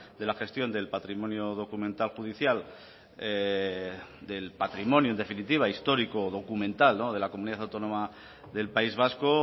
de la gestión del patrimonio documental judicial del patrimonio en definitiva histórico o documental de la comunidad autónoma del país vasco